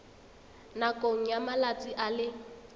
nakong ya malatsi a le